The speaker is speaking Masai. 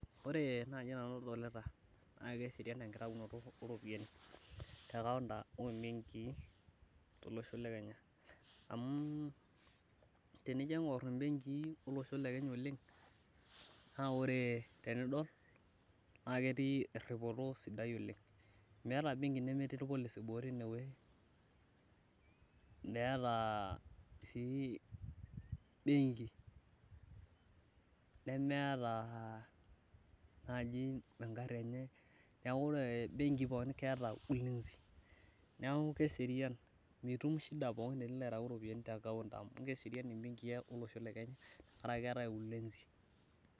Ore nai nanu adolita naa keserian enkitayunoto ooropiani te counter ombenkii tolosho le Kenya amu tenijo aingur imbenkii olosho le Kenya oleng naa ore tenidol naa ketii erhipoto sapuk oleng Meeta embenki nepitii ilpolisi boo teinewei, meeta sii benkii nemeeta naji engarhi enye niaku ore nai imbenkii pookin keeeta ulinzi neeku keserian mitum shida pookin tenilo aitayu iropiyiani te embenki amu keserian imbenkii olosho le Kenya tenkaraki keetai ulinzi